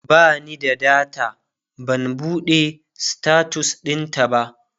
bani da data ban buɗe status ɗintaba